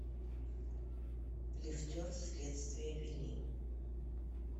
лифтер следствие вели